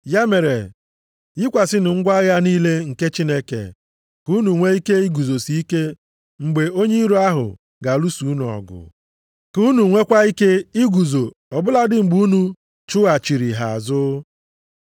Ya mere, yikwasịnụ ngwa agha niile nke Chineke ka unu nwee ike iguzosi ike mgbe onye iro ahụ ga-alụso unu ọgụ. Ka unu nweekwa ike iguzo ọ bụladị mgbe unu chụghachiri ha azụ.